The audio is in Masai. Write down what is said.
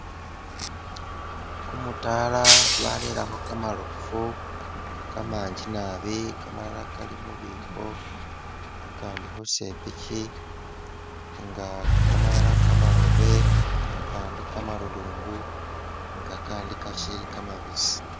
Gumudala barelekho gamarofu gamanji naabi gamalala gali mubibo gagandi khusepichi inga gamalala gamarobe gagandi gamarulungu nga gandi gachili gamabisi.